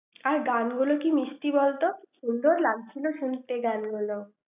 আর গানগুলো কি মিষ্টি বলতো? সুন্দর লাগছিল শুনতে গানগুলো ৷